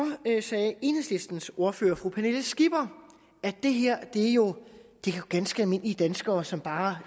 sagde enhedslistens ordfører fru pernille skipper at det her jo er ganske almindelige danskere som bare